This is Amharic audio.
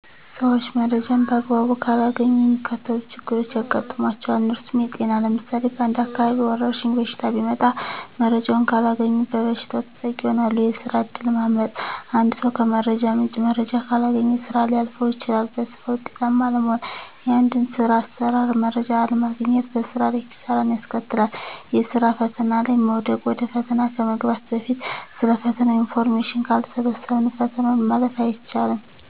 ሰዊች መረጃን በአግባቡ ካላገኙ የሚከተሉት ችግሮች ያጋጥሟቸዋል። እነርሱም -የጤና ለምሳሌ በአንድ አካባቢ ወረድሽኝ በሽታ ቢመጣ መረጃውን ካላገኙ በበሽታው ተጠቂ ይሆናሉ፤ የስራ እድል ማምለጥ -አንድ ሰው ከመረጃ ምንጭ መረጃ ካላገኘ ስራ ሊያልፈው ይችላል፤ በስራ ውጤታማ አለመሆን -የአንድን ስር አሰራር መረጃ አለማግኘት በስራ ላይ ኪሳራን ያስከትላል፤ የስራ ፈተና ላይ መውደቅ -ወደ ፈተና ከመግባት በፊት ስለ ፈተናው ኢንፎርሜሽን ካልሰበሰብን ፈተናውን ማለፍ አይቻልም።